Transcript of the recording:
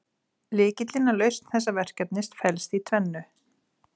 Lykillinn að lausn þessa verkefnis felst í tvennu.